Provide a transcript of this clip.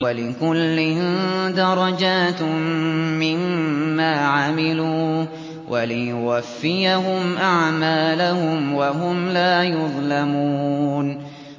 وَلِكُلٍّ دَرَجَاتٌ مِّمَّا عَمِلُوا ۖ وَلِيُوَفِّيَهُمْ أَعْمَالَهُمْ وَهُمْ لَا يُظْلَمُونَ